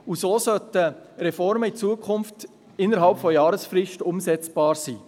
So sollten Reformen in Zukunft innert Jahresfrist umsetzbar sein.